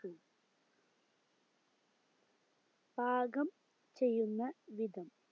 പാകം ചെയ്യുന്ന വിധം